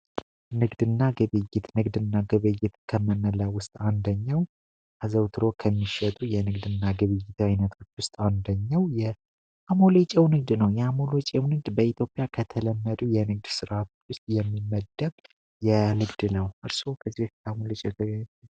ንግድና ንግድና ውስጥ አንደኛው ከሚሸጡ የንግድ ግብይት አንደኛው የ አሞሌ ነው በኢትዮጵያ ከተለመዱ ስራ ውስጥ የሚመደብ የንግድ ነው